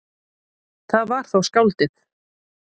Það var þá skáldið.